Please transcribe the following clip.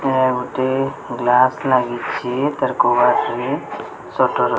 Room ଟି glass ଲାଗିଛି ତାର କୂଅ ଅଛି ସଟର ।